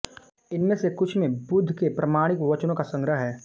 इनमें से कुछ में बुद्ध के प्रामाणिक वचनों का संग्रह हैं